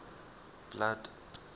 blood